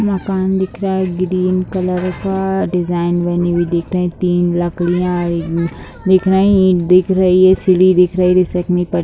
मकान दिख रहा है ग्रीन कलर का डिज़ाइन बनी हुई दिख रहे तीन लकड़ियाँ दिख रही ईंट दिख रही सीढ़ी दिख रही पर।